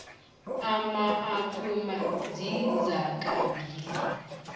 ama apuma zizakha mzimba